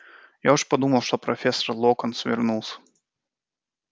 я уж подумал это профессор локонс вернулся